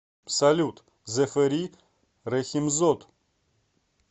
салют зэфэри рэхимзод